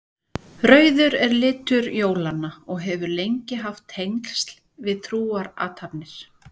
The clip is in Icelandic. Rauður er litur jólanna og hefur lengi haft tengsl við trúarathafnir.